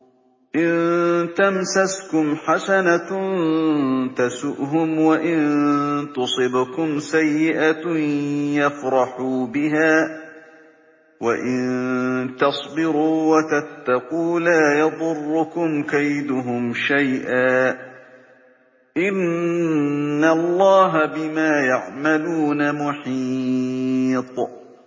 إِن تَمْسَسْكُمْ حَسَنَةٌ تَسُؤْهُمْ وَإِن تُصِبْكُمْ سَيِّئَةٌ يَفْرَحُوا بِهَا ۖ وَإِن تَصْبِرُوا وَتَتَّقُوا لَا يَضُرُّكُمْ كَيْدُهُمْ شَيْئًا ۗ إِنَّ اللَّهَ بِمَا يَعْمَلُونَ مُحِيطٌ